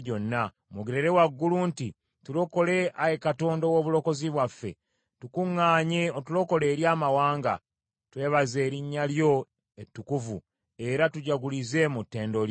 Mwogerere waggulu nti, “Tulokole, Ayi Katonda ow’obulokozi bwaffe; tukuŋŋaanye, otulokole eri amawanga, twebaze erinnya lyo ettukuvu, era tujagulize mu ttendo lyo.”